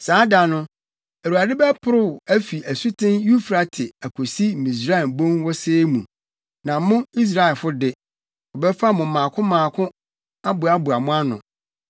Saa da no, Awurade bɛporow afi asuten Eufrate akosi Misraim Bon Wosee mu, na mo, Israelfo de, wɔbɛfa mo mmaako mmaako aboaboa mo ano.